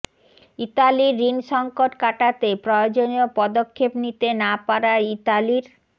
ইতালির ঋণ সংকট কাটাতে প্রয়োজনীয় পদক্ষেপ নিতে না পারায় ইতালির